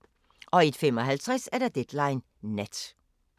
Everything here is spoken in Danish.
01:55: Deadline Nat